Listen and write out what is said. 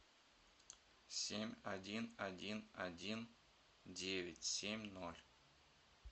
семь один один один девять семь ноль